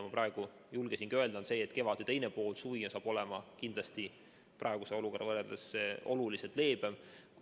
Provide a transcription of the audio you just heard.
Ma praegu julgesin öelda, et kevade teine pool ja suvi saavad praeguse olukorraga võrreldes olema kindlasti oluliselt leebemad.